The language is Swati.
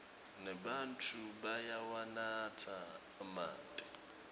nebatfu bayawanatsa emanti